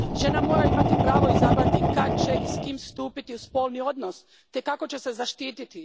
Žena mora imati pravo izabrati kad će i s kim stupiti u spolni odnos te kako će se zaštititi.